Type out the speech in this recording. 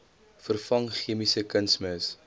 vervang chemiese kunsmis